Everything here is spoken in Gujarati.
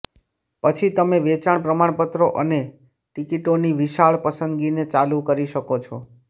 પછી તમે વેચાણ પ્રમાણપત્રો અને ટિકિટોની વિશાળ પસંદગીને ચાલુ કરી શકો છો